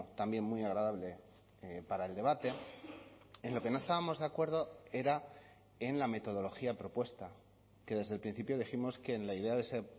también muy agradable para el debate en lo que no estábamos de acuerdo era en la metodología propuesta que desde el principio dijimos que en la idea de ese